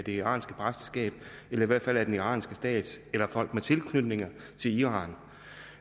iranske præsteskab eller i hvert fald af den iranske stat eller folk med tilknytning til iran og